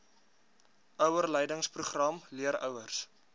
ouerleidingsprogram leer ouers